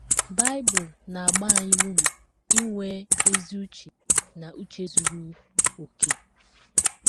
Bible na - agba anyị ume inwe ezi uche na “ uche zuru okè. ”